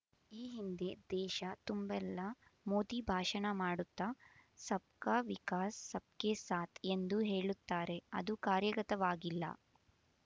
ಈ ಹಿಂದೆ ದೇಶ ತುಂಬೆಲ್ಲಾ ಮೋದಿ ಭಾಷಣ ಮಾಡುತ್ತಾ ಸಬಕಾ ವಿಕಾಸ ಸಬಕೆ ಸಾತ್ ಎಂದು ಹೇಳುತ್ತಾರೆ ಅದು ಕಾರ್ಯಗತವಾಗಿಲ್ಲಾ